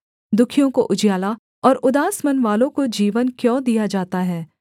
दुःखियों को उजियाला और उदास मनवालों को जीवन क्यों दिया जाता है